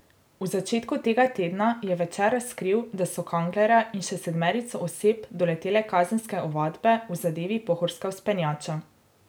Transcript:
V začetku tega tedna je Večer razkril, da so Kanglerja in še sedmerico oseb doletele kazenske ovadbe v zadevi Pohorska vzpenjača.